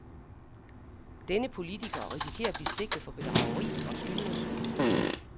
Denne politiker risikerer at blive sigtet for bedrageri og skyldnersvig.